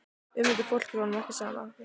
Um þetta fólk er honum ekki sama.